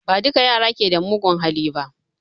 Ba duka yara ke da mugun hali ba